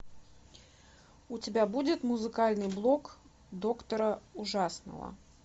у тебя будет музыкальный блок доктора ужасного